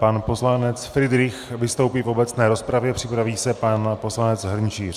Pan poslanec Fridrich vystoupí v obecné rozpravě, připraví se pan poslanec Hrnčíř.